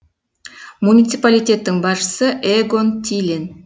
муниципалитеттің басшысы эгон тилен